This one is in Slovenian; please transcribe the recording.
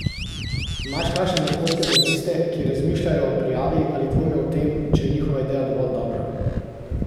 Imaš kakšne napotke za tiste, ki razmišljajo o prijavi ali dvomijo o tem, če je njihova ideja dovolj dobra?